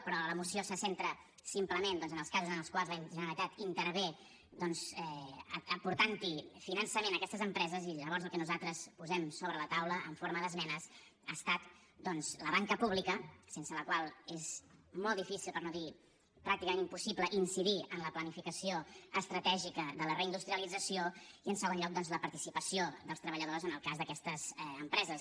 però la moció se centra simplement doncs en els casos en els quals la generalitat intervé aportant finançament a aquestes empreses i llavors el que nosaltres posem sobre la taula en forma d’esmenes ha estat doncs la banca pública sense la qual és molt difícil per no dir pràcticament impossible incidir en la planificació estratègica de la reindustrialització i en segon lloc doncs la participació dels treballadors en el cas d’aquestes empreses